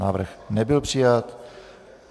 Návrh nebyl přijat.